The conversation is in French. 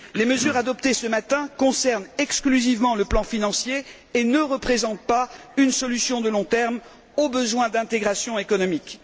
Les mesures adoptées ce matin concernent exclusivement le plan financier et ne représentent pas une solution à long terme aux besoins d'intégration économique.